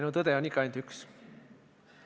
No tõde on ikka ainult üks.